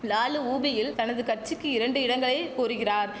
லாலு உபியில் தனது கச்சிக்கி இரண்டு இடங்களை கோருகிறார்